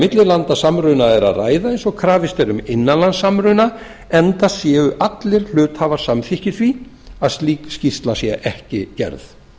millilandasamruna er að ræða eins og krafist er um innanlandssamruna enda séu allir hluthafar samþykkir því að slík skýrsla sé ekki gerð